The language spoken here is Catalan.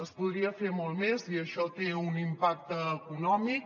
es podria fer molt més i això té un impacte econòmic